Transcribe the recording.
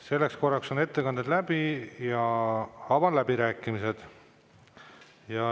Selleks korraks on ettekanded läbi ja avan läbirääkimised.